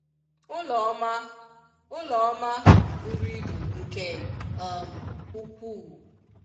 Ụlọ ọma Ụlọ ọma bụrụ ibu nke um ụkwu u.